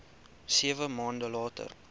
sewe maande later